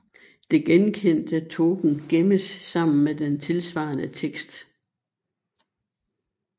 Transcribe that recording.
Det genkendte token gemmes sammen med den tilsvarende tekst